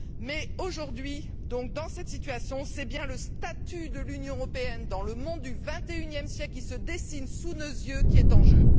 Mais aujourd'hui, dans cette situation, c'est bien le statut de l'Union européenne, dans le monde du vingt et unième siècle qui se dessine sous nos yeux, qui est en jeu.